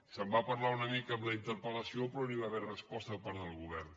se’n va parlar una mica en la interpel·lació però no hi va haver resposta per part del govern